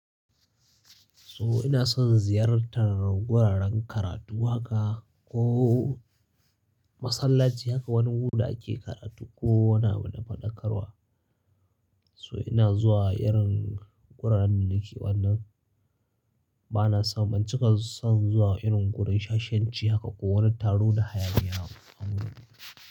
So ina son ziyartar wuraren karatu haka ko masallaci haka wani guda ake karatu ko wani abu na faɗakarwa. So ina zuwa irin wuraren nan nake wannan, bana so ban cika son zuwa irin wurin shashenci haka ko wani taro da hayaki yana wurin.